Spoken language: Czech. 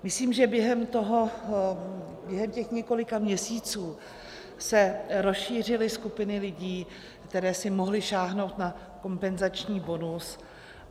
Myslím, že během těch několika měsíců se rozšířily skupiny lidí, které si mohly sáhnout na kompenzační bonus.